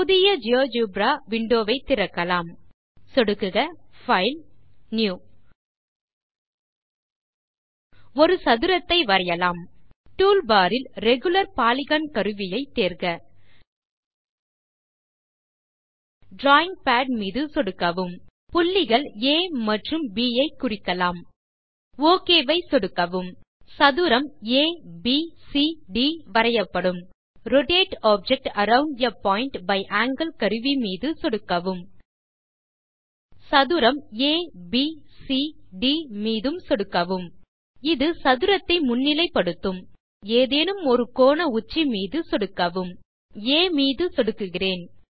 புதிய GeoGebra window வை திறக்கலாம் சொடுக்குக பைல் ஜிடிஜிடி நியூ ஒரு சதுரத்தை வரையலாம் டூல்பார் இல் ரெகுலர் பாலிகன் கருவியை தேர்க டிராவிங் பாட் மீது சொடுக்கவும் புள்ளிகள் ஆ மற்றும் ப் ஐ குறிக்கலாம் ஒக் வை சொடுக்கவும் சதுரம் ஏபிசிடி வரையப்படும் rotate object around a point by angle கருவி மீது சொடுக்கவும் சதுரம் ஏபிசிடி மீது சொடுக்கவும் இது சதுரத்தை முன்னிலை படுத்தும் அடுத்து ஏதேனும் ஒரு கோண உச்சி மீது சொடுக்கவும் நான் ஆ மீது சொடுக்குகிறேன்